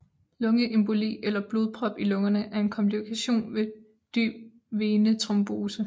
Lungeemboli eller blodprop i lungerne er en komplikation ved dyb venetrombose